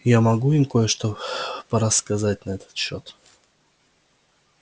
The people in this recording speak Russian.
я могу им кое-что порассказать на этот счёт